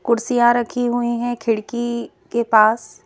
कुर्सियां रखी हुई हैं खिड़की के पास--